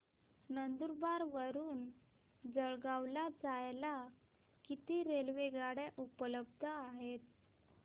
नंदुरबार वरून जळगाव ला जायला किती रेलेवगाडया उपलब्ध आहेत